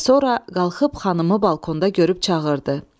Və sonra qalxıb xanımı balkonda görüb çağırdı: